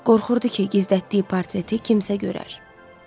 Qorxurdu ki, gizlətdiyi portreti kimsə görər.